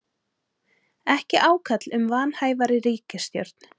Ekki ákall um vanhæfari ríkisstjórn